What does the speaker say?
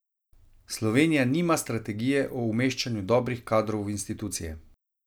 Slovenija nima strategije o umeščanju dobrih kadrov v institucije.